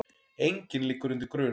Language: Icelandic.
Enginn liggur undir grun